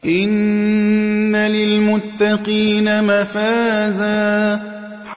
إِنَّ لِلْمُتَّقِينَ مَفَازًا